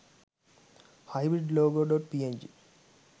hybrid logo.png